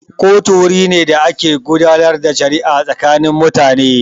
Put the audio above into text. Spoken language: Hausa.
Kotu wuri ne da ake gudanar da shari'a tsakanin mutane.